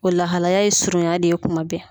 O lahalaya ye surunya de ye kuma bɛɛ.